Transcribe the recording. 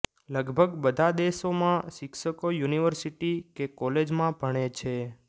લગભગ બધા દેશોમાં શિક્ષકો યુનિવર્સીટી કે કોલેજમાં ભણે છે